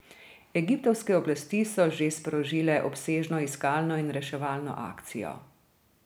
Egiptovske oblasti so že sprožile obsežno iskalno in reševalno akcijo.